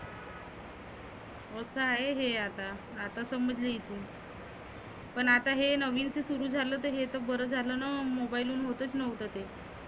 रोजच आहे हे आता. आता समजले इथुन पण आता हे नविन ते सुरु झालं हे तर बरं झालंना mobile हून होतच नव्हतं ते.